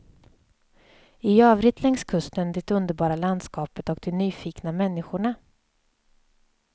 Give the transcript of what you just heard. I övrigt längs kusten det underbara landskapet och de nyfikna människorna.